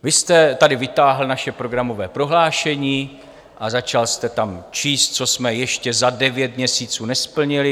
Vy jste tady vytáhl naše programové prohlášení a začal jste tam číst, co jsme ještě za devět měsíců nesplnili.